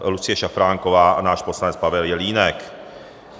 Lucie Šafránková a náš poslanec Pavel Jelínek.